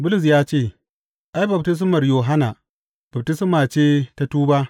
Bulus ya ce, Ai, baftismar Yohanna, baftisma ce ta tuba.